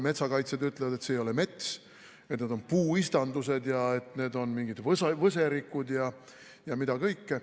Metsakaitsjad ütlevad, et see ei ole mets, et need on puuistandused, need on mingid võserikud ja mida kõike.